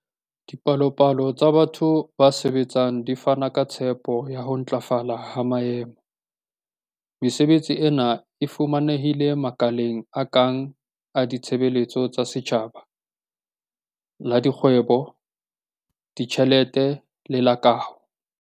Dipalopalo tsa batho ba sebetsang di fana ka tshepo ya ho ntlafala ha maemo. Mesebetsi ena e fumanehile makaleng a kang la ditshebeletso tsa setjhaba, la dikgwebo, ditjhelete le la kaho.